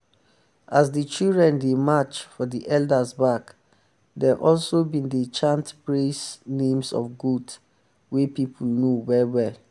as the children dey march for the elders back dem also been dey chant praise names of goats wey people know well well.